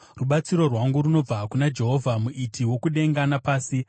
Rubatsiro rwangu runobva kuna Jehovha, muiti wokudenga napasi.